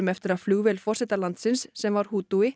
eftir að flugvél forseta landsins sem var